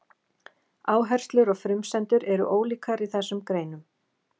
Áherslur og frumsendur eru ólíkar í þessum greinum.